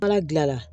Ala dilan